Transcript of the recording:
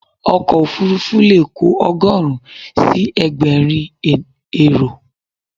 Ọkọ̀ òfurufú leè kò ogóòrun si egbèrin èrò